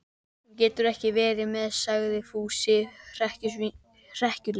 Hún getur ekki verið með, sagði Fúsi frekjulega.